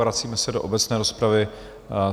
Vracíme se do obecné rozpravy.